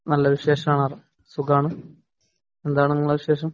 നല്ല വിശേഷാണ്. സുഖാണ്. എന്താണ് നിങ്ങടെ വിശേഷം.